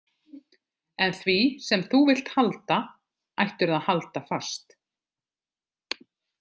En því sem þú vilt halda, ættirðu að halda fast.